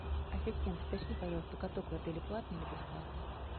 ассистент уточни пожалуйста каток в отеле платный или бесплатный